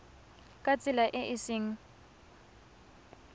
ka tsela e e seng